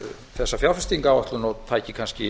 þessa fjárfestingaráætlun og tæki kannski